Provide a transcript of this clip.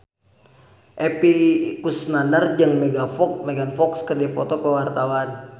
Epy Kusnandar jeung Megan Fox keur dipoto ku wartawan